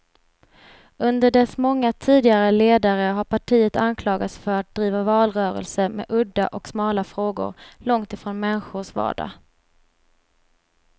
Under dess många tidigare ledare har partiet anklagats för att driva valrörelser med udda och smala frågor, långt från människors vardag.